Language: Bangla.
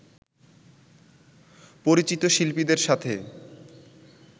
পরিচিত শিল্পীদের সাথে